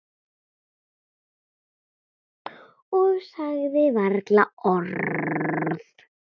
Og sagði varla orð.